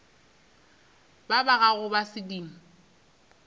ba ba gago ba sedimo